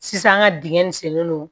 Sisan an ka dingɛ nin sen no